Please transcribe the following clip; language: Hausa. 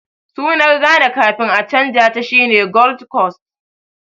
Sunar Ghana kafin a canja ta shine Gold Coast